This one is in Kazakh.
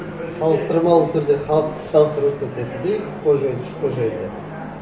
салыстырмалы түрде халықты салыстырып өткен сияқты да екі қожайын үш қожайынды